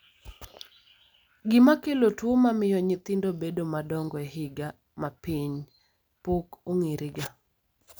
gima kelo tuo mamiyo nyithindo bedo madongo e higa mapiny pok ong'erega